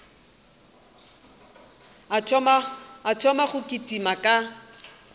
a thoma go kitima ka